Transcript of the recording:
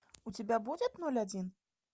у тебя будет ноль один